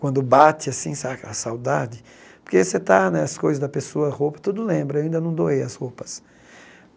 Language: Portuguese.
Quando bate assim saca a saudade, porque você está né, as coisas da pessoa, a roupa, tudo lembra, ainda não doei as roupas.